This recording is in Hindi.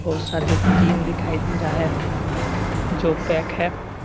बहुत सारे टीन दिखाई दे रहा है जो पैक है।